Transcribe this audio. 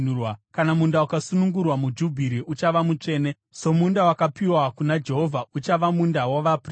Kana munda ukasunungurwa muJubhiri, uchava mutsvene, somunda wakapiwa kuna Jehovha; uchava munda wavaprista.